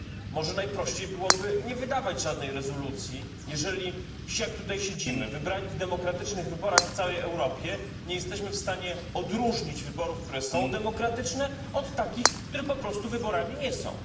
Może najprościej byłoby nie wydawać żadnej rezolucji, jeżeli jak tutaj siedzimy, wybrani w demokratycznych wyborach w całej Europie, nie jesteśmy w stanie odróżnić od wyborów, które są demokratyczne, od takich, które po prostu wyborami nie są.